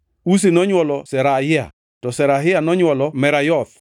Uzi nonywolo Zerahia, to Zerahia nonywolo Merayoth,